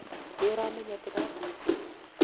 nĩũramenya tũrathie kũ?